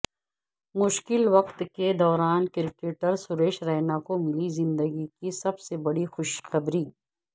مشکل وقت کے دوران کرکٹر سریش رینا کو ملی زندگی کی سب سے بڑی خوشخبری